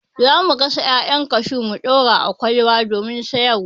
Za mu gasa 'ya'yan kashu mu ɗura a ƙwalba domin siyar wa.